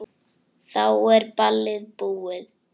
Þá er ballið búið.